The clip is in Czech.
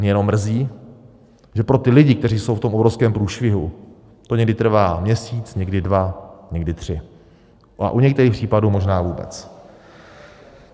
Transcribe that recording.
Mě jenom mrzí, že pro ty lidi, kteří jsou v tom obrovském průšvihu, to někdy trvá měsíc, někdy dva, někdy tři, a u některých případů možná vůbec.